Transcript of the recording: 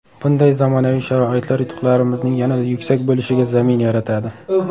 Bunday zamonaviy sharoitlar yutuqlarimizning yanada yuksak bo‘lishiga zamin yaratadi.